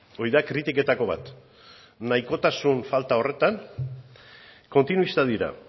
hori da kritiketako bat nahikotasun falta horretan kontinuistak dira